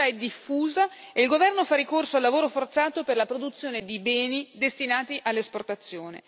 la tortura è diffusa e il governo fa ricorso al lavoro forzato per la produzione di beni destinati all'esportazione.